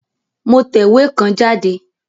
Mo tẹ̀wé kan jáde